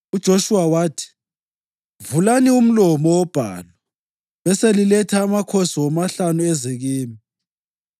UJoshuwa wathi, “Vulani umlomo wobhalu beseliletha amakhosi womahlanu eze kimi.”